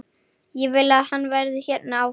Ég vil að hann verði hérna áfram.